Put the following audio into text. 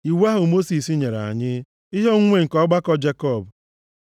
iwu ahụ Mosis nyere anyị, ihe onwunwe nke ọgbakọ Jekọb.